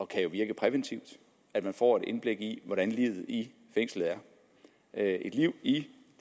kan virke præventivt at man får et indblik i hvordan livet i fængslet er et liv i de